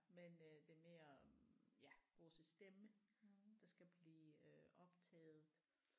Men øh det er mere om ja vores stemme der skal blive øh optaget